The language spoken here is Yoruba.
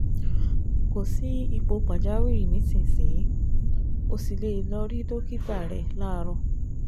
Kò sí ipò pàjáwìrì nísinsìnyí, o sì lè lọ rí dókítà rẹ láàárọ̀